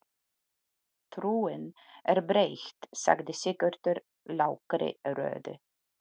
Trúin er breytt, sagði Sigurður lágri röddu.